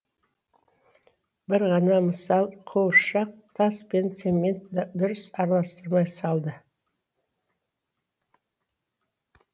бір ғана мысал қуыршық тас пен цементті дұрыс араластырмай салды